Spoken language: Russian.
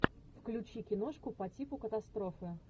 включи киношку по типу катастрофы